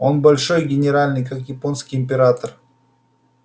он большой генеральный как японский император